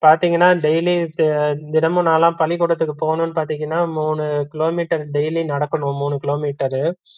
பாத்தீங்கன்னா daily யும், தினமும் நான்லாம் பள்ளிகுடத்துக்கு போகணும்னு பாத்தீங்கன்னா மூணு கிலோமீட்டர் daily நடக்கணும் மூணு கிலோமீட்டரு